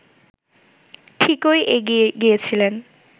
ঠিকই এগিয়ে গিয়েছিলেন